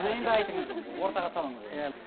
енді айтыңыз енді ортаға салыңыз иә